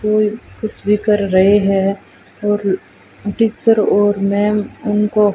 और कुछ भी कर रहे है और टीचर और मैम उनको--